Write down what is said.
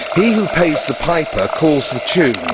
He who pays the piper calls the tune.